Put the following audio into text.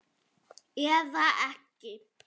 Eða ekki.